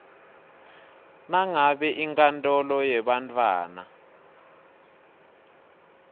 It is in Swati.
nangabe inkantolo yebantfwana